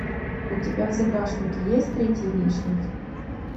у тебя в загашнике есть третий лишний